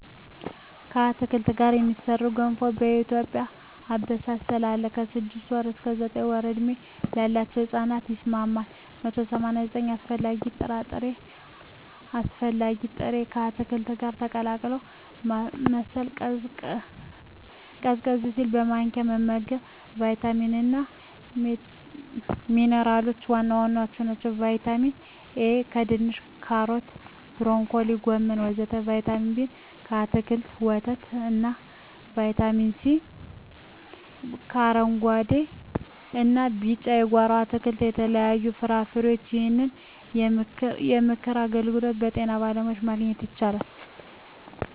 ከአትክልት ጋር የሚሠራ ገንፎ በኢትዮጵያ አበሳሰል አለ። ከ6 ወር እስከ 9 ወር ዕድሜ ላለው ሕጻን ይስማማል። 189 አስፈላጊ ጥሬ ዕቃዎች አስፈላጊ ጥሬ...፣ ከአትክልቱ ጋር ቀላቅሎ ማማሰል፣ ቀዝቀዝ ሲል በማንኪያ መመገብ። , ቫይታሚኖች እና ሚንራሎች(ዋና ዋናዎቹ) ✔️ ቫይታሚን ኤ: ከድንች ካሮት ብሮኮሊ ጎመን ወተት ✔️ ቫይታሚን ቢ: ከአትክልቶች ወተት እና ✔️ ቫይታሚን ሲ: ከአረንጉአዴ እና ቢጫ የጓሮ አትክልት ከተለያዩ ፍራፍሬዎች ይህንን የምክር አገልግሎት ከጤና ባለሙያዎች ማግኘት ይቻላል።